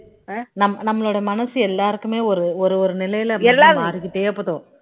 நம்ம நம்மளோட மனசு எல்லாருக்குமே ஒரு ஒரு நிலையில மாறிகிட்டே போகும்